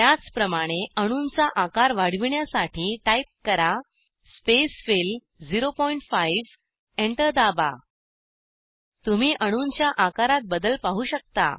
त्याचप्रमाणे अणूंचा आकार वाढविण्यासाठी टाईप करा स्पेसफिल 05 एंटर दाबा तुम्ही अणूंच्या आकारात बदल पाहू शकता